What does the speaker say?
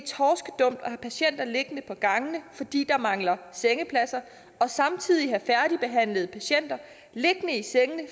have patienter liggende på gangene fordi der mangler sengepladser og samtidig have færdigbehandlede patienter liggende i sengene